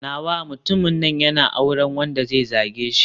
Nawa mutumin nan yana auren wanda zai zage shi.